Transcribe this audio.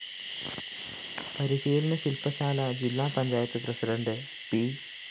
പരിശീലന ശില്‍പശാല ജില്ലാ പഞ്ചായത്ത്‌ പ്രസിഡണ്ട്‌ പി